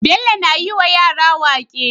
Bello na yi wa yara waƙe